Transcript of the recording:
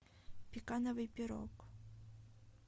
пекановый пирог